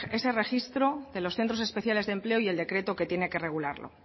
sobre ese registro de los centros especiales de empleo y el decreto que tiene que regularlo